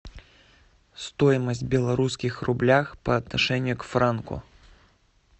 стоимость белорусских рублях по отношению к франку